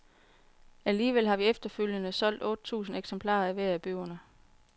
Alligevel har vi efterfølgende solgt otte tusind eksemplarer af hver af bøgerne.